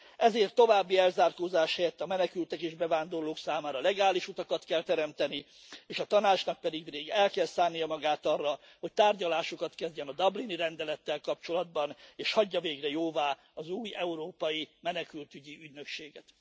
Ezért további elzárkózás helyett a menekültek és bevándorlók számára legális utakat kell teremteni, és a Tanácsnak pedig el kell szánnia magát arra, hogy tárgyalásokat kezdjen a dublini rendelettel kapcsolatban, és hagyja végre jóvá az új Európai Menekültügyi Ügynökséget.